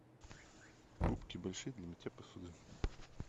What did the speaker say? губки большие для мытья посуды